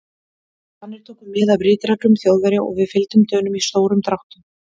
Danir tóku mið af ritreglum Þjóðverja og við fylgdum Dönum í stórum dráttum.